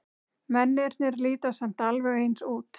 Mennirnir líta samt alveg eins út.